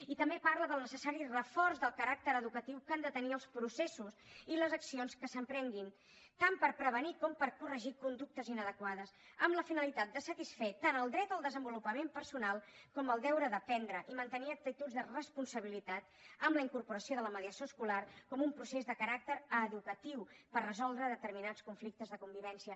i també parla del necessari reforç del caràcter educatiu que han de tenir els processos i les accions que s’emprenguin tant per prevenir com per corregir conductes inadequades amb la finalitat de satisfer tant el dret al desenvolupament personal com el deure d’aprendre i mantenir actituds de responsabilitat amb la incorporació de la mediació escolar com un procés de caràcter educatiu per resoldre determinats conflictes de convivència